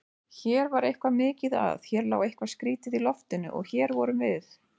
Hér var eitthvað mikið að, hér lá eitthvað skrýtið í loftinu- og hér vorum við.